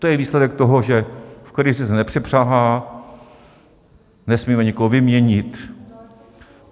To je výsledek toho, že v krizi se nepřepřahá, nesmíme nikoho vyměnit.